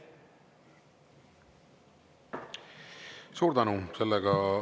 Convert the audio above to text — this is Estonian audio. Suur tänu!